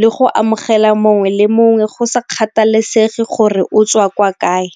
le go amogela mongwe le mongwe go sa kgathalesege gore o tswa kwa kae.